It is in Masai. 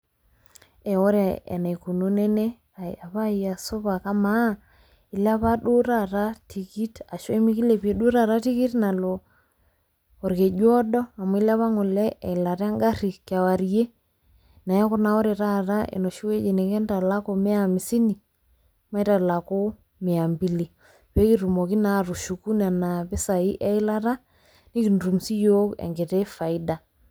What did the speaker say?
Ee ore eneikununo ene "ee epaayia supa, amaa ilepa duo taata tikit ashu emikiliepie tikit nalo olkejuodo amu ilepa ngole eilata engari kewarie, neeku naa ore taata enoshi oji nikintalaku mia amisini, maitalaku mia mbili pee kitumoki naa atushuku nena pisai eyilata nikitum siyiok inkiti faida".